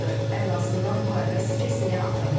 Ən azından müharibə stressini ata bilirik.